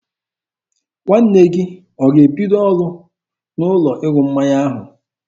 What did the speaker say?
Nwanne gị ọ ga-ebido ọrụ n'ụlọ ịṅụ mmanya ahụ?